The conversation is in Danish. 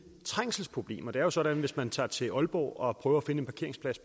trængselsproblemer det er jo sådan at hvis man tager til aalborg og prøver at finde en parkeringsplads